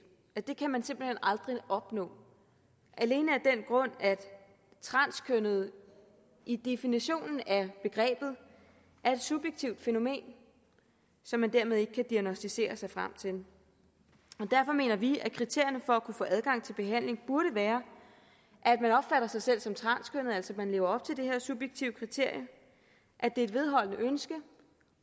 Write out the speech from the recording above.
det kan man simpelt hen aldrig opnå alene af den grund at transkønnethed i definitionen af begrebet er et subjektivt fænomen som man dermed ikke kan diagnosticere sig frem til og derfor mener vi at kriterierne for at kunne få adgang til behandling burde være at sig selv som transkønnet altså at man lever op til det her subjektive kriterie at det er et vedholdende ønske